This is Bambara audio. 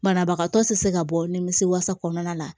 Banabagatɔ tɛ se ka bɔ nimisi wasa kɔnɔna la